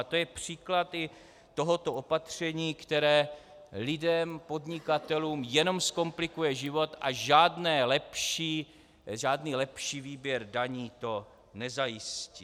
A to je příklad i tohoto opatření, které lidem, podnikatelům jenom zkomplikuje život a žádný lepší výběr daní to nezajistí.